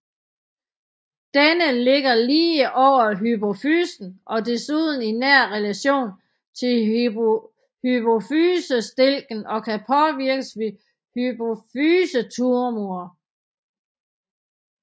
Denne ligger lige over hypofysen og desuden i nær relation til hypofysestilken og kan påvirkes ved hypofysetumorer